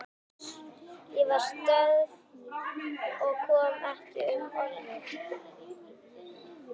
Ég var stjörf og kom ekki upp orði.